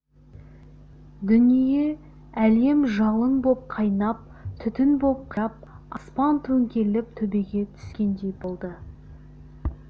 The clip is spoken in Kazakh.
дүние әлем жалын боп қайнап түтін боп қирап аспан төңкеріліп төбеге түскендей болды